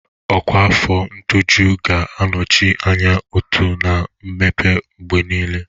Ọkwa afọ ṅtọjụ ga-anọchi anya ụtó na mmepe mgbe niile.